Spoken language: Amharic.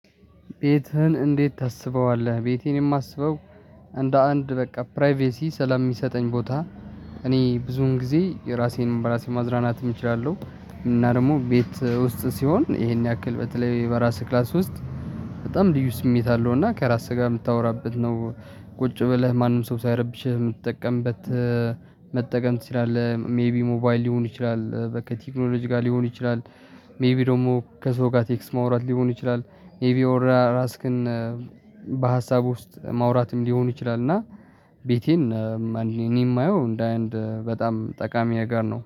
ቤትህን እንዴት ታስበዋለህ? ቤቴን የማስበው እንደ አንድ በቃ ፕራይቬሲ ስለሚሰጠኝ ቦታ። እኔ ብዙን ጊዜ የራሴን በራሴ ማናናት እችላለሁ። እና ደግሞ ቤት ውስጥ ሲሆን ይሄን ያክል በተለይ በራስህ ክላስ ውስጥ። በጣም ልዩ ስሜት አለው እና ከራስህ ጋር የምታወራበት ነው። ቁጭ ብለህ ማንም ሰው ሳይረብሽህ የምትጠቀምበት። መጠቀም ትችላለህ ሜይቢ ሞባይል ሊሆን ይችላል በቃ ቴክኖሎጂ ጋር ሊሆን ይችላል። ሜይቢ ደግሞ ከሰው ጋር ቴክስት ማውራት ሊሆን ይችላል። ሜይቢ ያው ራስክን። በሀሳብ ውስጥ ማውራትም ሊሆኑ ይችላል እና። ቤቴን እኔ የማየው እንደ አይነት በጣም ጠቃሚ ጋር ነው